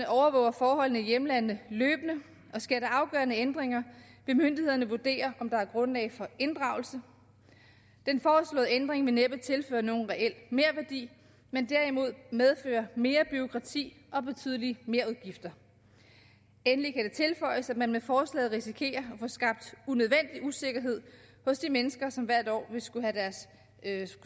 overvåger forholdene i hjemlandene løbende og sker der afgørende ændringer vil myndighederne vurdere om der er grundlag for inddragelse den foreslåede ændring vil næppe tilføre nogen reel merværdi men derimod medføre mere bureaukrati og betydelige merudgifter endelig kan det tilføjes at man med forslaget risikerer at få skabt unødvendig usikkerhed hos de mennesker som hvert år ville skulle